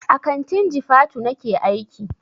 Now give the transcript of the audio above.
A kantin jifatu nake aiki.